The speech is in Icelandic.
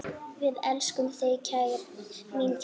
Við elskum þig, mín kæra.